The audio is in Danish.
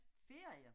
Ferier